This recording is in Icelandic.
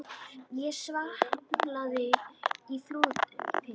Ég svamla í fúlum pytti.